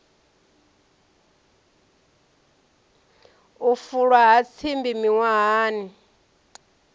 u fulwa ha tsimbi miṅwahani